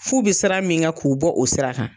Furu bɛ sira min kan k'u bɔ o sira kan.